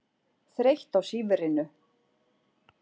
Þreytt á sífrinu.